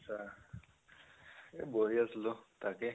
এ বহি আছিলো, তাকেই